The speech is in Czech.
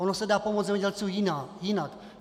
Ono se dá pomoci zemědělcům jinak.